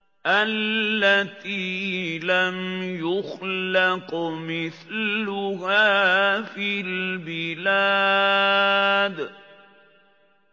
الَّتِي لَمْ يُخْلَقْ مِثْلُهَا فِي الْبِلَادِ